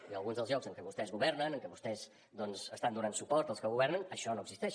i alguns dels llocs en què vostès governen en què vostès doncs estan donant suport als que governen això no existeix